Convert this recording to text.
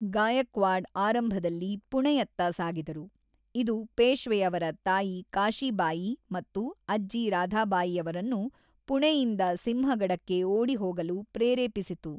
ಗಾಯಕ್ವಾಡ್ ಆರಂಭದಲ್ಲಿ ಪುಣೆಯತ್ತ ಸಾಗಿದರು, ಇದು ಪೇಷ್ವೆಯವರ ತಾಯಿ ಕಾಶಿಬಾಯಿ ಮತ್ತು ಅಜ್ಜಿ ರಾಧಾಬಾಯಿಯವರನ್ನು ಪುಣೆಯಿಂದ ಸಿಂಹಗಡಕ್ಕೆ ಓಡಿಹೋಗಲು ಪ್ರೇರೇಪಿಸಿತು.